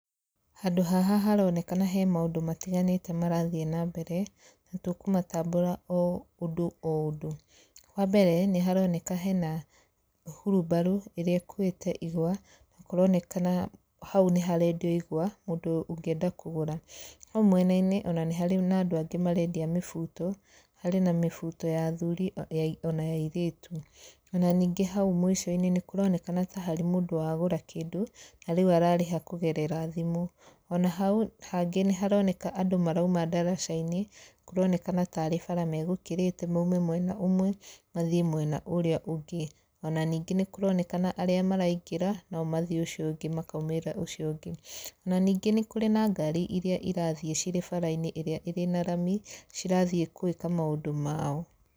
Handũ haha haronekana he maũndũ matiganĩte marathiĩ na mbere nĩtũkũmatambũra oũndũ oũndũ, wambere nĩ haroneka hena hurubaro ĩrĩa ĩkuĩte ihũa na kũronekana hau nĩ harendio igũa mũndũ ũngĩenda kũgũra, hau mwenainĩ nĩ harĩ na andũ angĩ marendia mĩhuto, harĩ mihuto ya athuri ona ya airĩtu ona ningĩ hau mwicoinĩ kũronekana ta harĩ mũndũ wagũra kĩndũ na rĩũ ararĩha kũgerera thimu. Ona hau hangĩ nĩharoneka marauma ndaracainĩ kũronekana tarĩ bara megũkĩrĩte maũme mwena ũmwe mathii mwena ũrĩa ũngĩ, ona ningĩ nĩkũronekana arĩa maraingĩra nomathii ũcio ũngĩ makaũmĩrĩra ũcio ũngĩ, na ningĩ nĩ kũrĩ na gari irĩa cirĩ barainĩ ya rami cirathii gwĩka maũndũ mao.